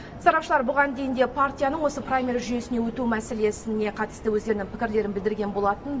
сарапшылар бұған дейін де партияның осы праймериз жүйесіне өту мәселесіне қатысты өздерінің пікірлерін білдірген болатын